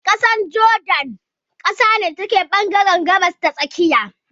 ƙasar jordan ƙasa ne da take ɓangaren gabas ta tsakiya.